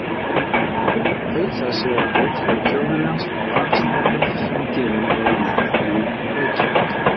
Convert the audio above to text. Auk þess er hann ritstjóri Þjóðviljans, blaðsnepils sem gefinn er út í Reykjavík.